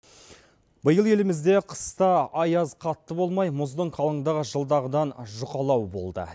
биыл елімізде қыста аяз қатты болмай мұздың қалыңдығы жылдағыдан жұқалау болды